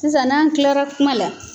Sisan n'an kilara kuma la